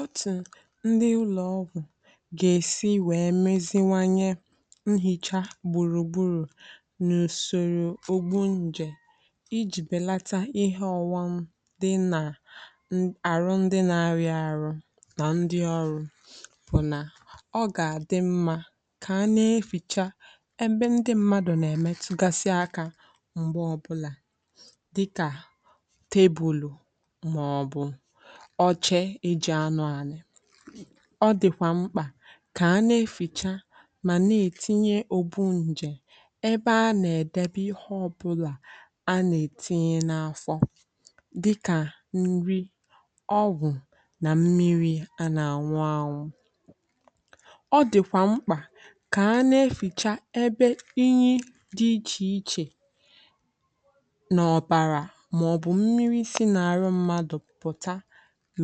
Otu ndị ụlọ ọgwụ ga-esi wee meziwanye nhicha gbùrùgburù n’usoro ogbo nje iji belata ihe ọwa m dị n’ọrụ ndị na-arị arụ na ndị ọrụ bụ: Ọ ga-adị mma ka a na-eficha ebe ndị mmadụ na-emetụ gasị aka mgbe ọbụla, dịka tebụl ọ chere eji anụ anị. Ọ dịkwa mkpa ka a na-eficha ma na-etinye ogbu nje ebe a na-edobe ihe ọ bụla a na-etinye n’afọ, dịka nri, ọgwụ na mmiri a na-aṅụ. Ọ dịkwa mkpa ka a na-eficha ebe inyi dị iche iche na ọbara maọbụ mmiri si n’arụ mmadụ. Nke a dị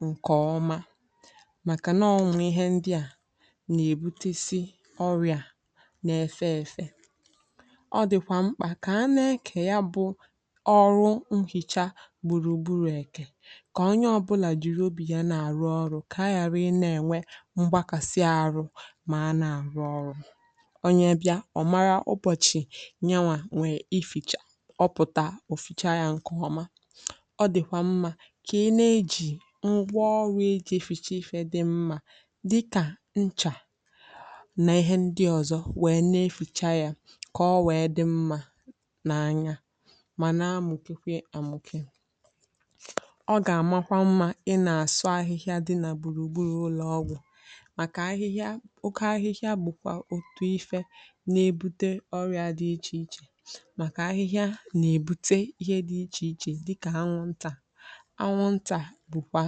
mma maka na o nwere ihe ndị a na-ebute site n’ọrịa n’efee efe. Ọ dịkwa mkpa ka a na-ekekọrịta ọrụ nhicha gbùrùgburù ka onye ọbụla jiri obi ya na-arụ ọrụ, ka a ghara inwe mgbakasị ahụ ma a na-arụ ọrụ. Onye bịara, ọ mara ụbọchị, nyere onwe ya ficha ọ pụtara, ọ ficha ya nke ọma. Ọrụ ije fichasị ife dị mma. Dịka: nchà na ihe ndị ọzọ wee na-efucha ya, ka o wee dị mma n’anya ma na mùkikwe amùkì. Ọ ga-amakwa mma ị na-asụ ahịhịa dị na gbùrùgburù ụlọ ọgwụ, maka ahịhịa oke ahịhịa bụkwa otu ihe na-ebute ọrụa dị iche iche. Maka ahịhịa na-ebute ihe dị iche iche, dịka anwụnta na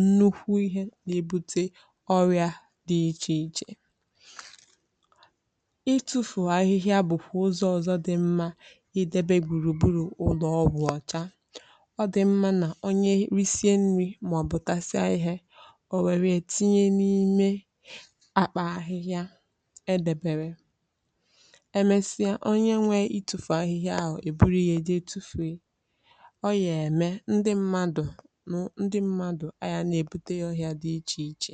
nnukwu ihe na-ebute ọrịa dị iche iche. Itufụ ahịhịa bụkwa ụzọụzọ dị mma idebe gbùrùgburù ụlọ ọgwụ ọcha. Ọ dị mma na onye rìsịrị nri maọbụ tasịrị ihe o nwere etinye n’ime akpa ahịhịa edebere. Emesịa, onye nwe itufụ ahịhịa ahụ e buru ihe e je tufuo o ya eme ndị mmadụ anya na-ebute ya ọhịa dị iche iche.